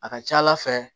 A ka ca ala fɛ